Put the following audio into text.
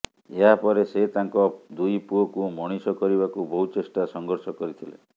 ଏହାପରେ ସେ ତାଙ୍କ ଦୁଇ ପୁଅକୁ ମଣିଷ କରିବାକୁ ବହୁ ଚେଷ୍ଟା ସଂଘର୍ଷ କରିଥିଲେ